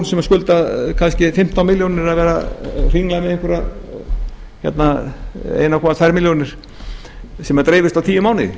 sem skulda kannski fimmtán milljónir að vera að hringla með einhverjar einn komma tvær milljónir sem dreifist á tíu mánuði